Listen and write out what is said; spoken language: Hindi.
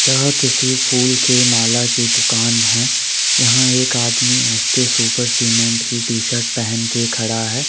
यह किसी फूल के माला की दुकान है यहां एक आदमी है एस_के सुपर सीमेंट की टी शर्ट पहन के खड़ा है।